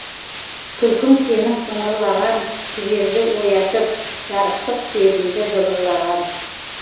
күлкің сенің сыңғырлаған жіберді оятып жарықтық сезімді жыбырлаған